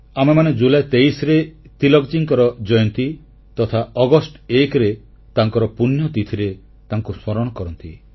ଆମେମାନେ ଜୁଲାଇ 23 ରେ ତିଳକଜୀଙ୍କ ଜୟନ୍ତୀ ତଥା ଅଗଷ୍ଟ 1 ରେ ତାଙ୍କର ପୁଣ୍ୟତିଥିରେ ଆମେ ତାଙ୍କୁ ସ୍ମରଣ କରୁଛୁ